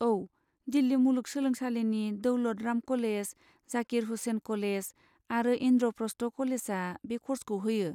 औ, दिल्लि मुलुग सोलोंसालिनि दौलत राम कलेज, जाकिर हुसेन कलेज आरो इनद्र'प्रस्थ कलेजा बे क'र्सखौ होयो।